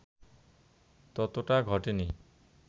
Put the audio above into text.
ততটা ঘটেনি